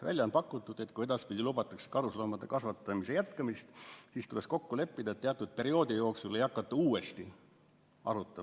Välja on pakutud, et kui edaspidi lubatakse karusloomade kasvatamist jätkata, siis tuleks kokku leppida, et teatud perioodi jooksul ei hakata seda uuesti arutama.